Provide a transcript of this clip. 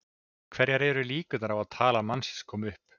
Hverjar eru líkurnar á að talan manns komi upp?